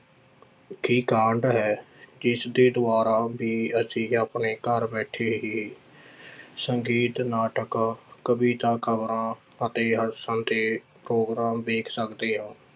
~ਖੀ ਕਾਢ ਹੈ, ਜਿਸਦੇ ਦੁਆਰਾ ਵੀ ਅਸੀਂ ਆਪਣੇ ਘਰ ਬੈਠੇ ਹੀ ਸੰਗੀਤ, ਨਾਟਕ, ਕਵਿਤਾ, ਖ਼ਬਰਾਂ ਅਤੇ ਦੇ ਪ੍ਰੋਗਰਾਮ ਵੇਖ ਸਕਦੇ ਹਾਂ।